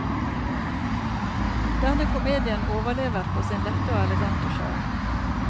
Denne komedien overlever på sin lette og elegante sjarm.